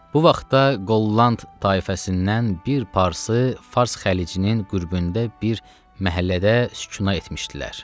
Bu vaxtda Holland tayfasından bir parsı fars xəlicinin qürbündə bir məhəllədə sükunət etmişdilər.